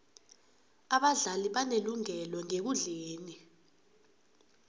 abadlali banelungelo ngekundleni